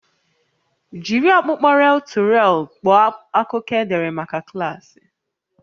Jiri ọkpụkpọ rel-to-rel kpọọ akụkọ edere maka klaasị